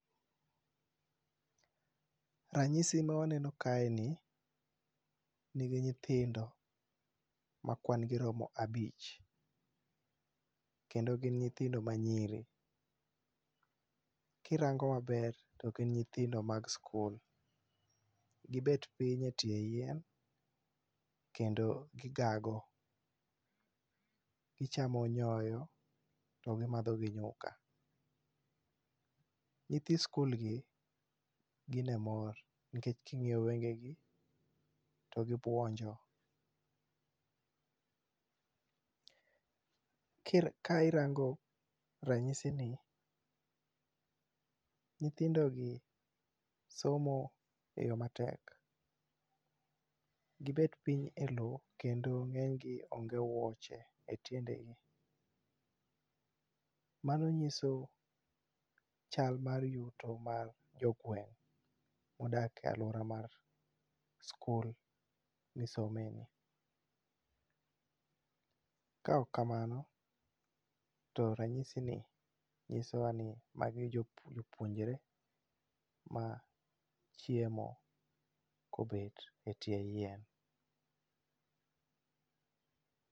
Ranyisi ma waneno kaeni ni gi nyithindo, makwan gi romo abich kendo gin nyithindo manyiri. Ka irango maber to gin nyithi sikul kendo gibet piny e tieng yien gigago. Gicham,o nyoyo to gimadho gi nyuka. Nyithi sikul gim, gin e mor nikech king'iyo wengegi to gibuonjo. Ka irango ranyisigi, nyithindogi somo eyo matek. Gibet piny elowo keendo ng'enygi onge wuoche etiendegi Mano nyiso yuto mar jo gweng' modak e aluora mar sikul misomeni. Kaok kamano, to ranyisini nyisowa ni magi jopuonjre ma chiemo kobet e tie yien.